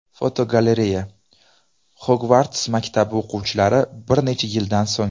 Fotogalereya: Xogvarts maktabi o‘quvchilari bir necha yildan so‘ng.